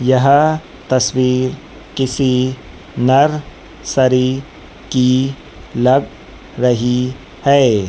यह तस्वीर किसी नर शरीर की लग रही है।